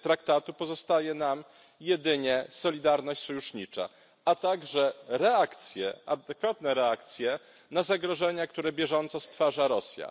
traktatu, pozostaje nam jedynie solidarność sojusznicza, a także adekwatne reakcje na zagrożenia, które bieżąco stwarza Rosja.